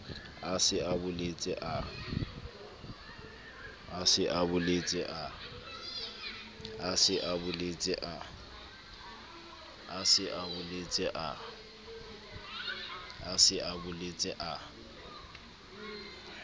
a se a boletse a